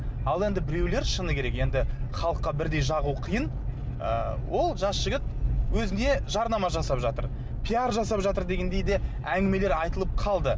ал енді біреулер шыны керек енді халыққа бірдей жағу қиын ыыы ол жас жігіт өзіне жарнама жасап жатыр пиар жасап жатыр дегендей де әңгімелер айтылып қалды